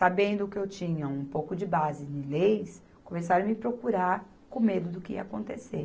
Sabendo que eu tinha um pouco de base em leis, começaram a me procurar com medo do que ia acontecer.